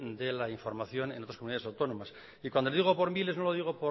de la información en otras comunidades autónomas y cuando digo por miles no lo digo